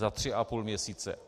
Za tři a půl měsíce!